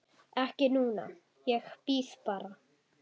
Ekki núna, ég bíð bara.